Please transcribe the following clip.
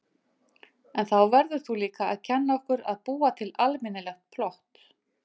En þá verður þú líka að kenna okkur að búa til almennilegt plott.